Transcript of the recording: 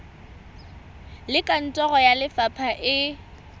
le kantoro ya lefapha e